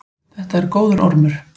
Þetta er góður ormur.